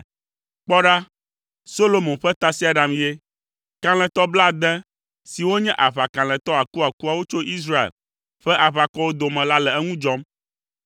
Kpɔ ɖa, Solomo ƒe tasiaɖam ye! Kalẽtɔ blaade siwo nye aʋakalẽtɔ akuakuawo tso Israel ƒe aʋakɔwo dome la le eŋu dzɔm.